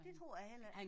Det tror jeg heller ikke